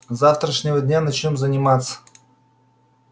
с завтрашнего дня начнём заниматься